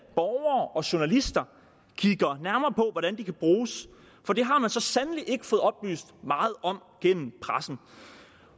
borgere og journalister kigger nærmere på hvordan mulighederne kan bruges for det har man så sandelig ikke fået oplyst meget om gennem pressen